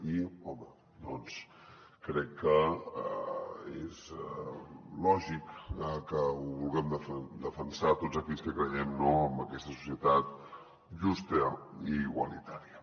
i home doncs crec que és lògic que ho vulguem defensar tots aquells que creiem en aquesta societat justa i igualitària